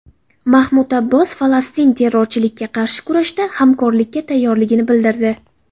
Mahmud Abbos Falastin terrorchilikka qarshi kurashda hamkorlikka tayyorligini bildirdi.